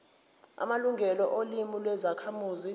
amalungelo olimi lwezakhamuzi